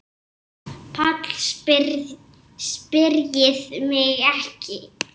PÁLL: Spyrjið mig ekki.